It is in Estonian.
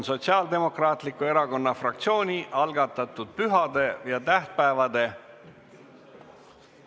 Sotsiaaldemokraatliku Erakonna fraktsiooni algatatud pühade ja tähtpäevade ...